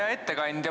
Hea ettekandja!